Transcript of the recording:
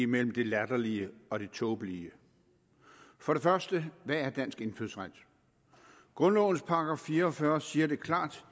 mellem det latterlige og det tåbelige for det første hvad er dansk indfødsret grundlovens § fire og fyrre siger det klart